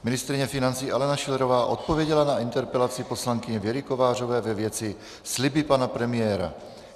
Ministryně financí Alena Schillerová odpověděla na interpelaci poslankyně Věry Kovářové ve věci sliby pana premiéra.